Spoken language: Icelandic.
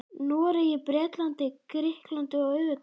Noregi, Bretlandi, Grikklandi og auðvitað Danmörku.